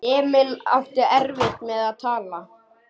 Emil átti erfitt með að tala.